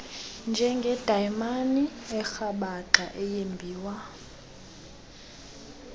njengedayimani erhabaxa eyembiwa